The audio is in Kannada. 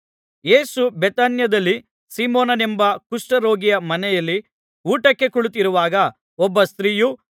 ಯೇಸು ಬೇಥಾನ್ಯದಲ್ಲಿ ಸೀಮೋನನೆಂಬ ಕುಷ್ಠರೋಗಿಯ ಮನೆಯಲ್ಲಿ ಊಟಕ್ಕೆ ಕುಳಿತಿರುವಾಗ ಒಬ್ಬ ಸ್ತ್ರೀಯು